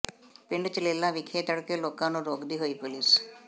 ਪਿੰਡ ਚਲੈਲਾ ਵਿਖੇ ਭੜਕੇ ਲੋਕਾਂ ਨੂੰ ਰੋਕਦੀ ਹੋਈ ਪੁਲੀਸ